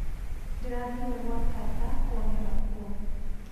Ndĩrathire gwa tata kũonera kuo